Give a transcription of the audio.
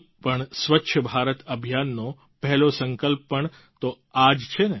આમ પણ સ્વચ્છ ભારત અભિયાનનો પહેલો સંકલ્પ પણ તો આ જ છે